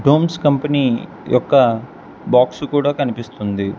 Homes company యొక్క box కూడా కనిపిస్తుంది.